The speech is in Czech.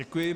Děkuji.